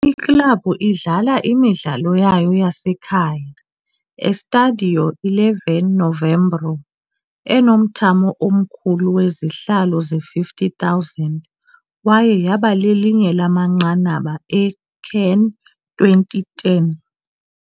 Iklabhu idlala imidlalo yayo yasekhaya Estádio 11 Novembro, enomthamo omkhulu wezihlalo ze-50,000 kwaye yaba lelinye lamanqanaba e-CAN 2010.